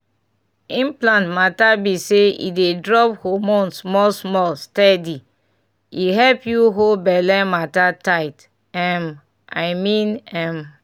implant matter be say e dey drop hormone small-small steady — e help you hold belle matter tight um i mean m!